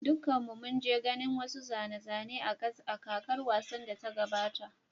Dukanmu mun je ganin wasu zane-zane a kakar wasan da ta gabata.